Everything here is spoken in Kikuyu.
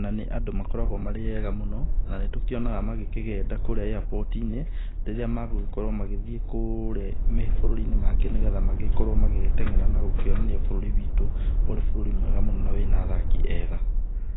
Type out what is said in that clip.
na nĩ andũ makoragwo marĩ ega mũno, na nĩ tũkĩonaga magĩkĩgenda kũrĩa airport inĩ rĩrĩa magũgĩkorwo magĩthiĩ kũrĩa mabũrũri mangĩ nĩgetha magĩkorwo magĩteng'era na kuonania bũrũri witũ ũrĩ bũrũri mwega mũno na wĩna athaki ega.